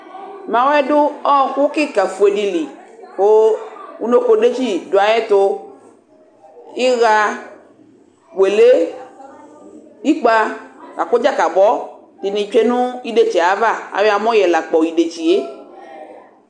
Mawɛ dʊ ɔkʊ kɩka fuele dɩlɩ kʊ ʊnokodetsɩ dʊ ayʊ ɛtʊv ɩɣa wele ɩkpa lakʊ dzakabɔ dɩnɩ tsuenʊ idetsie ava aya amɔla kpɔ idetsie